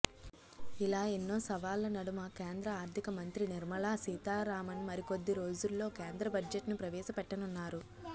ఇలా ఎన్నో సవాళ్ల నడుమ కేంద్ర ఆర్థిక మంత్రి నిర్మలా సీతారామన్ మరికొద్ది రోజుల్లో కేంద్ర బడ్జెట్ను ప్రవేశపెట్టనున్నారు